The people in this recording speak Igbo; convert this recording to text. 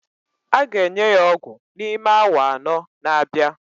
A ga-enye ya ọgwụ n'ime awa anọ na-abịa